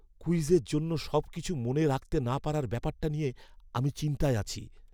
কুইজের জন্য সবকিছু মনে রাখতে না পারার ব্যাপারটা নিয়ে আমি চিন্তায় আছি।